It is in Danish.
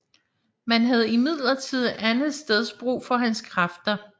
Man havde imidlertid andetsteds brug for hans kræfter